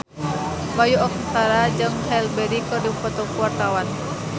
Bayu Octara jeung Halle Berry keur dipoto ku wartawan